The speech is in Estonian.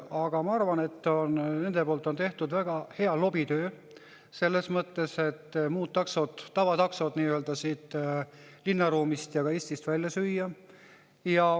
Aga ma arvan, et nende poolt on tehtud väga hea lobitöö selles mõttes, et muud taksod, tavataksod linnaruumist ja ka Eestist välja süüa.